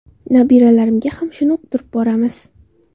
Nabiralarimga ham shuni uqtirib boramiz.